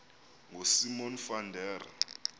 ngosimon van der